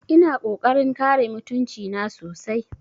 Ina ƙoƙarin kare mutunci na sosai